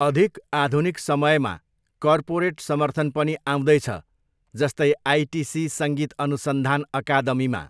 अधिक आधुनिक समयमा, कर्पोरेट समर्थन पनि आउँदैछ, जस्तै, आइटिसी सङ्गीत अनुसन्धान अकादमीमा।